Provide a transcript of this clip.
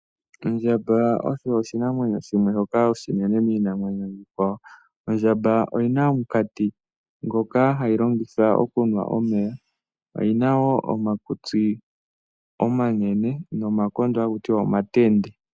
Ondjamba osho oshinamwenyo shimwe shoka oshinene miinamwenyo iikwawo, ondjamba oyina omukati ngoka hayi longitha okunwa omeya oyina wo omakutsi omanene nomakondo haku tiwa omatende.